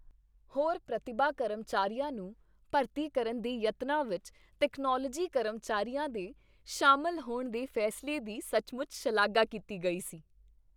ਹੋਰ ਪ੍ਰਤਿਭਾ ਕਰਮਚਾਰੀਆ ਨੂੰ ਭਰਤੀ ਕਰਨ ਦੇ ਯਤਨਾਂ ਵਿੱਚ ਤਕਨਾਲੋਜੀ ਕਰਮਚਾਰੀ ਦੇ ਸ਼ਾਮਲ ਹੋਣ ਦੇ ਫੈਸਲੇ ਦੀ ਸੱਚਮੁੱਚ ਸ਼ਲਾਘਾ ਕੀਤੀ ਗਈ ਸੀ।